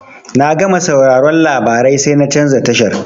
Na gama sauraron labarai sai na canza tashar.